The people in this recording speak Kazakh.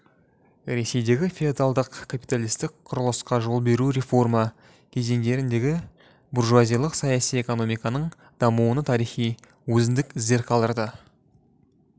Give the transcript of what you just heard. ресейдегі феодалдық капиталистік құрылысқа жол беруі реформа кезеңдеріндегі буржуазиялық саяси экономиканың дамуына тарихи өзіндік іздер қалдырды